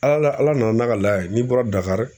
Ala ala nana n'a ka laye n'i bɔra Dakari.